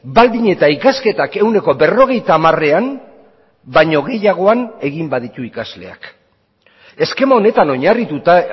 baldin eta ikasketak ehuneko berrogeita hamarean baino gehiagoan egin baditu ikasleak eskema honetan oinarrituta